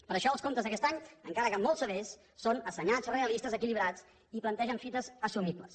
per això els comptes d’aquest any encara que molt severs són assenyats realistes equilibrats i plantegen fites assumibles